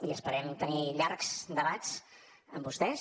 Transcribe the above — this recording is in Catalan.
i esperem tenir llargs debats amb vostès